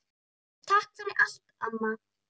Takk fyrir allt, amma.